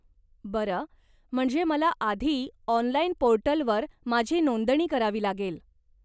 बरं, म्हणजे मला आधी ऑनलाइन पोर्टलवर माझी नोंदणी करावी लागेल.